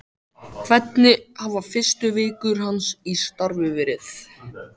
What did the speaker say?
Hvernig hafa fyrstu vikur hans í starfi verið?